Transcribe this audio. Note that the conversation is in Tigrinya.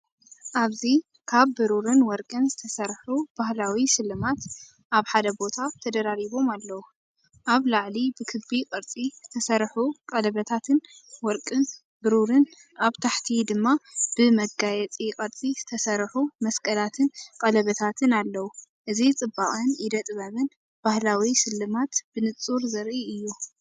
ኣብዚ ካብ ብሩርን ወርቅን ዝተሰርሑ ባህላዊ ስልማት ኣብ ሓደ ቦታ ተደራሪቦም ኣለዉ። ኣብ ላዕሊ ብክቢ ቅርጺ ዝተሰርሑ ቀለቤታት ወርቅን ብሩርን፡ኣብ ታሕቲ ድማ ብመጋየጺ ቅርጺ ዝተሰርሑ መስቀላትን ቀለቤታትን ኣለዉ። እዚ ጽባቐን ኢደ ጥበብን ባህላዊ ስልማት ብንጹር ዘርኢ እዩ።